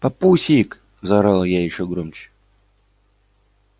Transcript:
папусик заорала я ещё громче